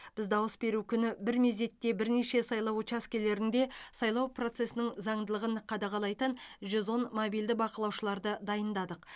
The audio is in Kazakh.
біз дауыс беру күні бір мезетте бірнеше сайлау учаскелерінде сайлау процесінің заңдылығын қадағалайтын жүз он мобильді бақылаушыларды дайындадық